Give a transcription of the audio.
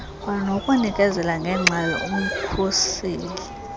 kwanokunikezela ngeengxelo umkhuseli